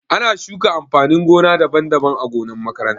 Ana shuka amfanin gona daban-daban ã gonan makaranta.